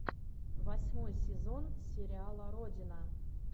восьмой сезон сериала родина